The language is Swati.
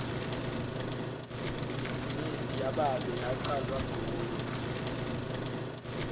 ibhizinisi yababe yacalwa nguye